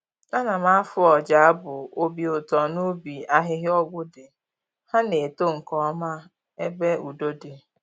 Ana m afụ ọja abụ obi ụtọ n'ubi ahịhịa ọgwụ dị, ha na-eto nkeọma ebe udo di.